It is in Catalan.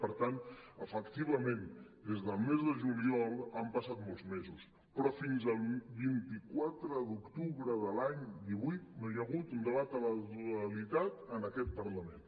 per tant efec·tivament des del mes de juliol han passat molts mesos però fins al vint quatre d’octubre de l’any divuit no hi ha hagut un debat a la totalitat en aquest parlament